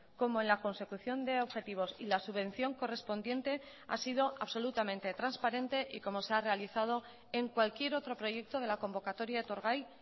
como en la consecución de objetivos y la subvención correspondiente ha sido absolutamente transparente y como se ha realizado en cualquier otro proyecto de la convocatoria etorgai